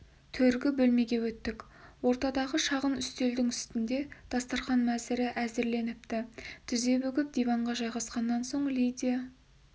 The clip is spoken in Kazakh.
төргі бөлмеге өттік ортадағы шағын үстелдің үстінде дастарқан мәзірі әзірленіпті тізе бүгіп диванға жайғасқаннан соң лидия